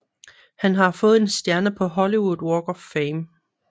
Han har fået en stjerne på Hollywood Walk of Fame